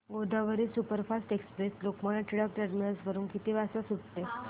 Godavari superfast express Lokmanya Tilak terminus वरून किती वाजता सुटते